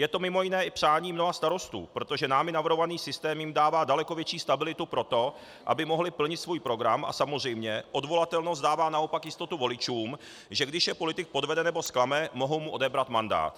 Je to mimo jiné i přání mnoha starostů, protože námi navrhovaný systém jim dává daleko větší stabilitu pro to, aby mohli plnit svůj program, a samozřejmě odvolatelnost dává naopak jistotu voličům, že když je politik podvede nebo zklame, mohou mu odebrat mandát.